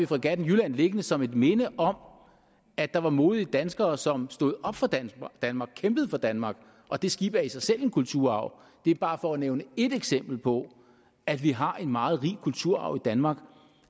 fregatten jylland liggende som et minde om at der var modige danskere som stod op for danmark kæmpede for danmark og det skib er i sig selv en kulturarv det er bare for at nævne et eksempel på at vi har en meget rig kulturarv i danmark